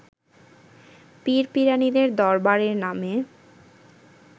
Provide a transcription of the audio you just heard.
পীর-পীরানীদের দরবারের নামে